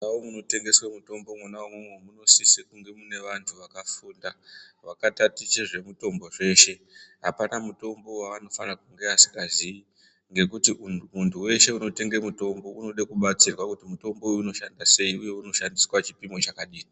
Mundau munotengeswa mutombo Mona imomo munosisa kunge mune vantu vakafunda vakataticha zvemitombo zveshe apana mutombo wanofana kunge asingaziyi ngekuti muntu weshe unotenga mutombo unoda kubatsirwa kuti mitombo unoshanda sei uye unoshandiswa chipimo chakadini.